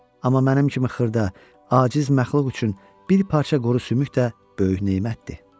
Amma mənim kimi xırda, aciz məxluq üçün bir parça quru sümük də böyük nemətdir.